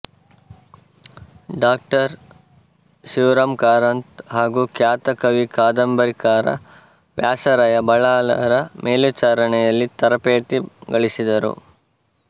ಡಾ ಶಿವರಾಮ ಕಾರಂತ್ ಹಾಗೂ ಖ್ಯಾತ ಕವಿ ಕಾದಂಬರಿಕಾರ ವ್ಯಾಸರಾಯ ಬಲ್ಲಾಳರ ಮೇಲ್ವಿಚಾರಣೆಯಲ್ಲಿ ತರಪೇತಿ ಗಳಿಸಿದರು